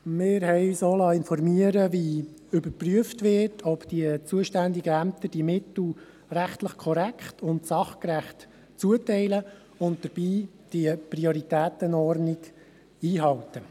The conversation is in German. Wir haben uns auch informieren lassen, wie überprüft wird, ob die zuständigen Ämter die Mittel rechtlich korrekt und sachgerecht zuteilen und dabei die Prioritätenordnung einhalten.